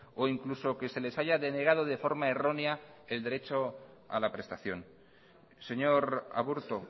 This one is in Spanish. o incluso que se les haya denegado de forma errónea el derecho a la prestación señor aburto